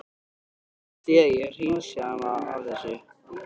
Viljið þið að ég hreinsið hana af þessu?